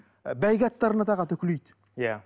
ы бәйге аттарына тағады үкілейді иә